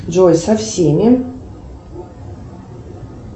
джой со всеми